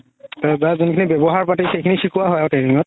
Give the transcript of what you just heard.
তাৰ যোনখিনি ৱ্যাবহাৰ পাতি সেইখিনি সিকোৱা হয় আৰু training ত